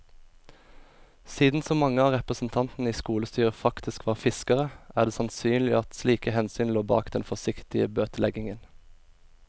Siden så mange av representantene i skolestyret faktisk var fiskere, er det sannsynlig at slike hensyn lå bak den forsiktige bøteleggingen.